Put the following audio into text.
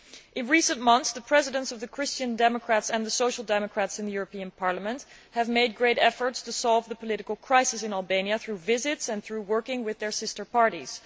In recent months, the Chairs of the Christian Democrats and the Social Democrats in the European Parliament have made great efforts to solve the political crisis in Albania through visits and through working with their sister parties.